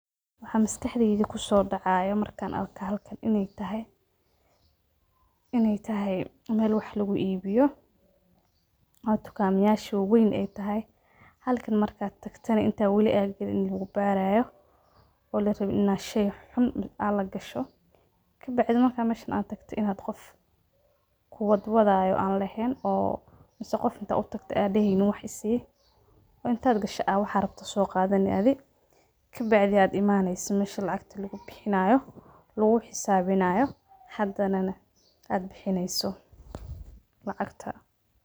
Waxaa maskaxdeyda kusoo dacaayaa markaan arko halkaan inaay tahay meel wax lagu ibiyo oo tukaamayaasha waweyn aay tahay, halkaan markaa tagtana intaad wali aad galin ini lagu baaraayo oo larabin inaa shey xun aa lagasho. Kabacdi markaa meshaan aad tagto inaad qof kuwadwadaayo aan laheyn oo mise qof intaa utagto aa deheynin wax isii intaad gasho aad waxaad rabto soo qaadani adi kabacdi aad imaaneyso mesha lacagta lagu bixinaayo laguu xisaabinaayo hadana aad bixineyso lacagta.